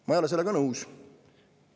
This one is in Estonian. Ma ei ole sellega nõus.